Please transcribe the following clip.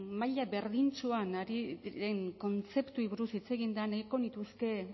maila berdintsuan ari diren kontzeptuei buruz hitz egin den nahiko nituzke